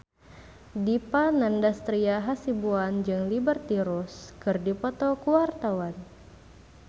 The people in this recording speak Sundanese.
Dipa Nandastyra Hasibuan jeung Liberty Ross keur dipoto ku wartawan